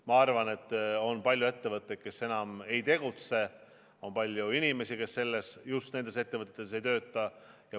Ma arvan, et on palju ettevõtteid, kes enam ei tegutse, on palju inimesi, kes just nendes ettevõtetes enam ei tööta.